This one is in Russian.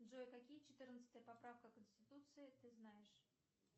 джой какие четырнадцатая поправка конституции ты знаешь